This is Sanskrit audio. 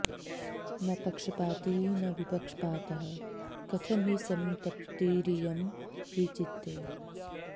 न पक्षपाती न विपक्षपातः कथं हि संतप्तिरियं हि चित्ते